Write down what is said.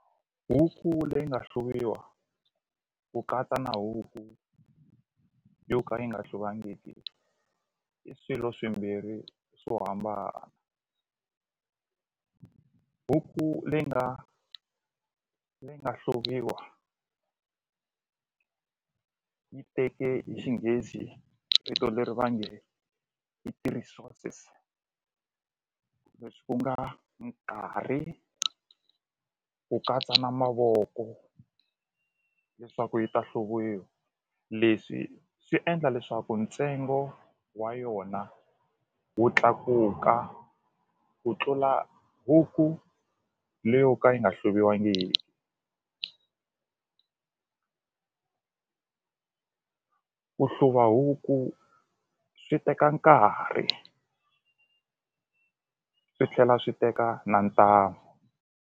Huku leyi nga hluviwa ku katsa na huku yo ka yi nga hluvangiki i swilo swimbhiri swo hambana huku leyi nga leyi nga hluviwa yi teke hi xinghezi vito leri va nge i ti-resources leswi ku nga nkarhi ku katsa na mavoko leswaku yi ta hluviwa leswi swi endla leswaku ntsengo wa yona wu tlakuka ku tlula huku leyo ka yi nga hluviwangi ku hluva huku swi teka nkarhi swi tlhela swi teka na ntamu.